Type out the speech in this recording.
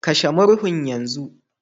Kashe murhun yanzu